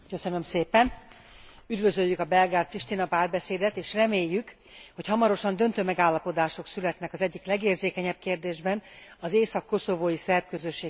Üdvözöljük a Belgrád Pristina párbeszédet, és reméljük, hogy hamarosan döntő megállapodások születnek az egyik legérzékenyebb kérdésben, az észak koszovói szerb közösség helyzetével kapcsolatban.